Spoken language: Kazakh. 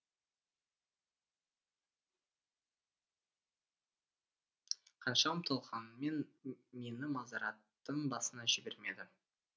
қанша ұмтылғанмен мені мазараттың басына жібермеді